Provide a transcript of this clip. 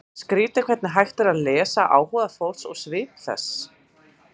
Skrýtið hvernig hægt er að lesa áhuga fólks úr svip þess.